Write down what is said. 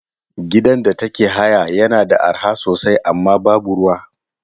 Gidan da take haya yana da arha sosai amma babu ruwa.